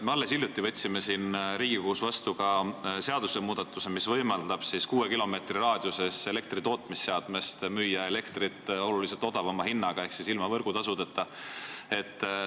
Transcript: Me alles hiljuti võtsime Riigikogus vastu seadusmuudatuse, mis võimaldab kuue kilomeetri raadiuses elektritootmisseadmest müüa elektrit oluliselt odavama hinnaga ehk ilma võrgutasudeta.